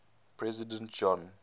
president john